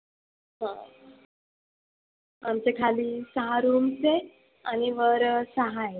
आमच्या खाली सहा rooms आणि वर सहा आहेत.